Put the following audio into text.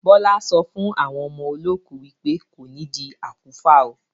Bọlá sọ fún àwọn ọmọ olókù wípé "kò nidi àkúfà óò".